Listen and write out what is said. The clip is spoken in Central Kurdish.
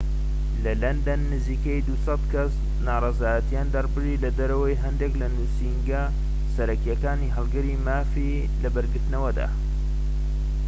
لە لەندەن، نزیکەی ٢٠٠ کەس ناڕەزایەتیان دەربڕی لەدەرەوەی هەندیك لە نوسینگە سەرەکیەکانی هەڵگری مافی لەبەرگرتنەوەدا